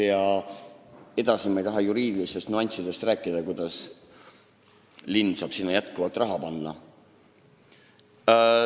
Ma ei taha edasi rääkida juriidilistest nüanssidest, kuidas linn saab sinna jätkuvalt raha panna.